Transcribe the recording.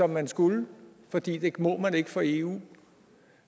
man skulle fordi det må man ikke for eu